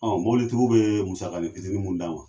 Ɔn mɔbilitigiw be musakanin fitnin mun d'an ma